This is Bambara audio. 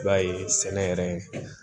I b'a ye sɛnɛ yɛrɛ